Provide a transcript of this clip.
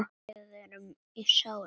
Við erum í sárum.